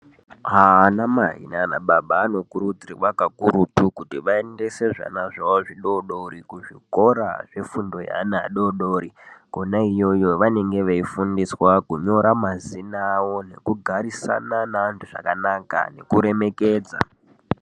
Ana mai nana baba anokurudzirwa kakurutu kuti vaendese zvana zvavo zvidodori kuzvikora zvefundo zvevana vadodori Kona iyoyo vanenge veifundiswa kunyora mazina awo nekugarisana nenantu zvakanaka nekuremekedza.